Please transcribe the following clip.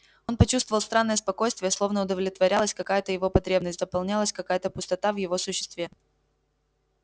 он почувствовал странное спокойствие словно удовлетворялась какая то его потребность заполнялась какая то пустота в его существе